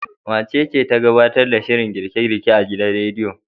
Wacece ta gabtar da shirin girke-girke a gidan radiyon?